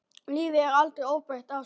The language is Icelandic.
Lífið er aldrei óbreytt ástand.